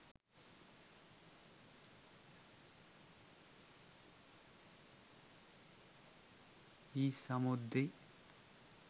e samurdhi